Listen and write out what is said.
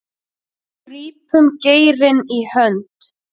grípum geirinn í hönd